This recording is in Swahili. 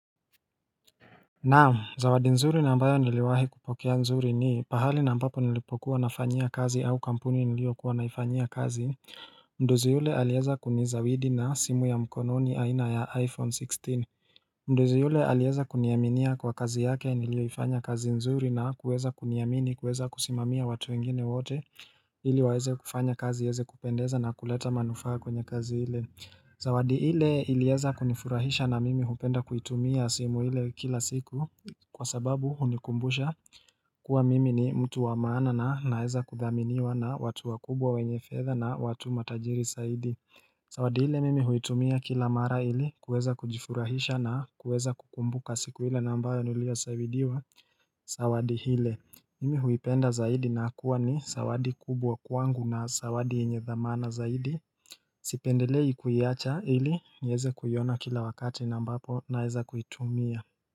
Naam zawadi nzuri na ambayo niliwahi kupokea nzuri ni pahali na ambapo nilipokuwa nafanyia kazi au kampuni niliyokuwa naifanyia kazi Mdozi yule alieza kunizawidi na simu ya mkononi aina ya iPhone 16 Mdozi yule alieza kuniaminia kwa kazi yake niliyoifanya kazi nzuri na kuweza kuniamini kuweza kusimamia watu wengine wote ili waeze kufanya kazi ieze kupendeza na kuleta manufaa kwenye kazi ile Zawadi ile ilieza kunifurahisha na mimi hupenda kuitumia simu ile kila siku kwa sababu hunikumbusha kuwa mimi ni mtu wa maana na naeza kuthaminiwa na watu wakubwa wenye fedha na watu matajiri saidi Zawadi ile mimi huitumia kila mara ili kueza kujifurahisha na kueza kukumbuka siku ile na ambayo niliyo saidiwa Zawadi hile mimi huipenda zaidi na kuwa ni sawadi kubwa kwangu na sawadi yenye dhamana zaidi Sipendelei kuiacha ili nieze kuiona kila wakati na ambapo naeza kuitumia.